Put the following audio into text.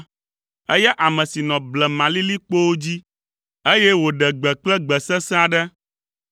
Eya ame si nɔ blemalilikpowo dzi, eye wòɖe gbe kple gbe sesẽ aɖe.